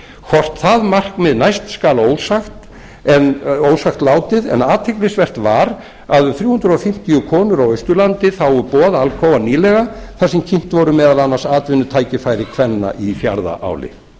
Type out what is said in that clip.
hvort það markmið næst skal ósagt látið en athyglisvert var að um þrjú hundruð fimmtíu konur á austurlandi þágu boð alcoa nýlega þar sem kynnt voru meðal annars atvinnutækifæri kvenna í fjarðaáli